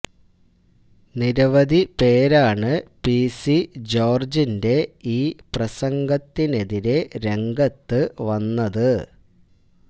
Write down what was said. നിരവധി പേരാണ് പിസി ജോര്ജ്ജിന്റെ ഈ പ്രസംഗത്തിനെതിരെ രംഗത്ത് വന്നത്